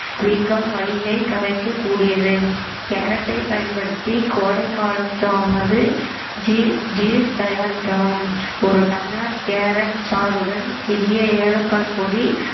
வீக்கம் வலியை கரைக்கக்கூடியது கேரட்டை பயன்படுத்தி கோடை காலத்தானது ju~ juice தயாரிக்கலாம் ஒரு டம்ளர் கேரட் சாறுடன் சிறிய ஏலக்காய் பொடி